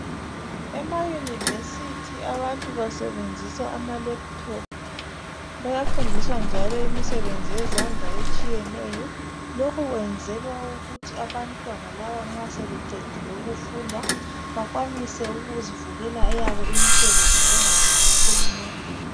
Emayunivesithi abantu basebenzisa amalephuthophu, bayafundiswa njalo imisebenzi yezandla etshiyeneyo lokhu kwenzelwa ukuthi abantwana laba nxa sebeqedile ukufunda bakwanise ukuzivulela eyabo imisebenzi bengalindi uhulumende.